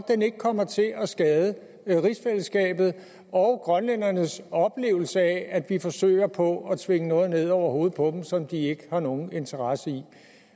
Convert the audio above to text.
ikke kommer til at skade rigsfællesskabet og grønlænderne en oplevelse af at vi forsøger på at tvinge noget ned over hovedet på dem som de ikke har nogen interesse i